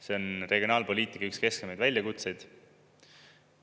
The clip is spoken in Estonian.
See on regionaalpoliitika üks kesksemaid väljakutseid.